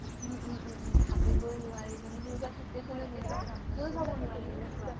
উম উম উম উম ভাবিবই নোৱাৰি মানে সেনেকুৱা situation ত চাব নোৱাৰি এনেকুৱা